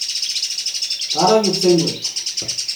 Barak kipsengwet